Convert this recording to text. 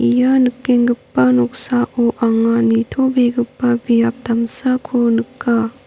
ia nikenggipa noksao anga nitobegipa biap damsako nika.